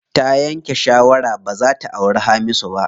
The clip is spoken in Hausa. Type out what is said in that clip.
Ta yanke shawara baza ta auri Hamisu ba.